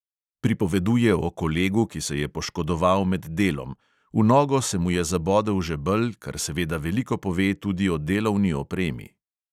Pripoveduje o kolegu, ki se je poškodoval med delom – v nogo se mu je zabodel žebelj, kar seveda veliko pove tudi o delovni opremi.